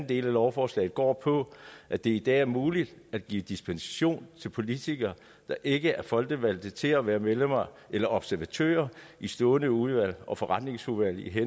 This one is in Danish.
del af lovforslaget går på at det i dag er muligt at give dispensation til politikere der ikke er folkevalgte til at være medlemmer eller observatører i stående udvalg og forretningsudvalg